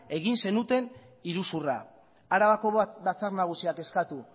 egin zenuten iruzurra arabako batzar nagusiak eskatu